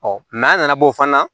a nana b'o fana na